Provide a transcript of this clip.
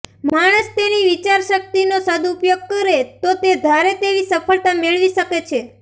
માણસ તેની વિચાર શક્તિનો સદઉપયોગ કરે તો તે ધારે તેવી સફળતા મેળવી શકે છે